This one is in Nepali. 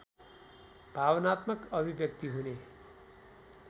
भावनात्मक अभिव्यक्ति हुने